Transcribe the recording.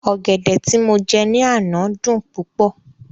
Ọ̀gẹ̀dẹ̀ tí mo jẹ ní àná dùn púpọ̀